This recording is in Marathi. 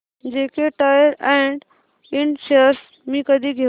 JK Tyre and Ind shares मी कधी घेऊ